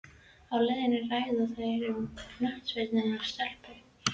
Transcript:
Á leiðinni ræða þeir um knattspyrnu og stelpur.